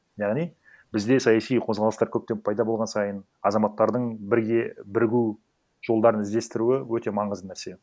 яғни бізде саяси қозғалыстар көптеп пайда болған сайын азаматтардың бірге бірігу жолдарын іздестіруі өте маңызды нәрсе